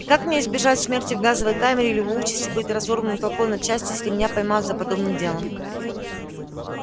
и как мне избежать смерти в газовой камере или участи быть разорванным толпой на части если меня поймают за подобным делом